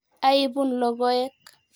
Aipun logoek.